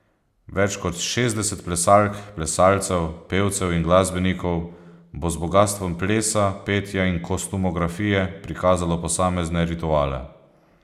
Več kot šestdeset plesalk, plesalcev, pevcev in glasbenikov bo z bogastvom plesa, petja in kostumografije prikazalo posamezne rituale.